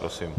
Prosím.